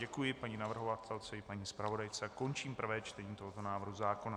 Děkuji paní navrhovatelce i paní zpravodajce a končím prvé čtení tohoto návrhu zákona.